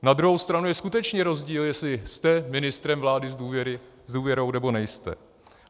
Na druhou stranu je skutečně rozdíl, jestli jste ministrem vlády s důvěrou, nebo nejste.